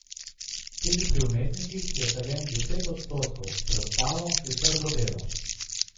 Tudi pri umetnikih je talent deset odstotkov, preostalo je trdo delo.